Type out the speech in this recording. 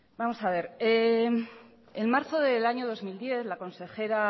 en marzo del año dos mil diez la consejera